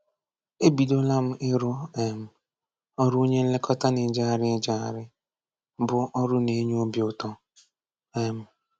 Ebidola m ịrụ um ọrụ onye nlekọta na-ejegharị ejegharị, bụ ọrụ na-enye obi ụtọ. um